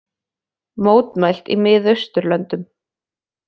Mótmælt í Miðausturlöndum